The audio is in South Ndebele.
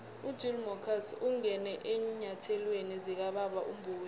ugill marcus ungene eenyathelweni zikababa umboweni